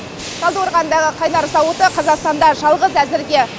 талдықорғандағы қайнар зауыты қазақстанда жалғыз әзірге